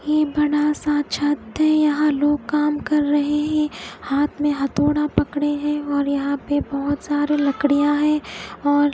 ये बड़ा सा छत्त है यहा लोग काम क्र रहे है हाथ में हथोडा पकड़े है यहा पे बहोत सारे लकडिया है और--